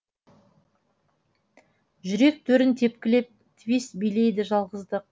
жүрек төрін тепкілеп твист билейді жалғыздық